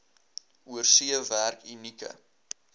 oorsee werk unieke